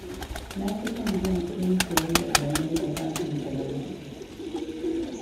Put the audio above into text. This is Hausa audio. Na fi son biyan kuɗin siyayyar da na yi da katin cirar kuɗi.